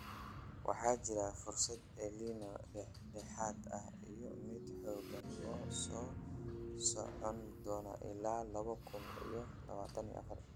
Waxaa jirta fursad El Niño dhexdhexaad ah iyo mid xooggan oo socon doonta ilaa laba kun iyo labatan afar.